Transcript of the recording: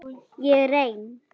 Ég er ein.